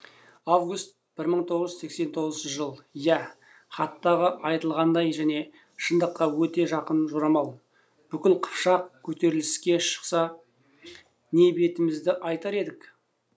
август бір мың тоғыз жүз сексен тоғызыншы жыл иә хаттағы айтылғандай және шындыққа өте жақын жорамал бүкіл қыпшақ көтеріліске шықса не бетімізді айтар едік